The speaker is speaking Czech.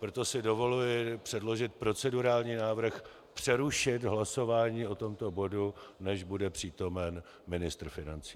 Proto si dovoluji předložit procedurální návrh přerušit hlasování o tomto bodu, než bude přítomen ministr financí.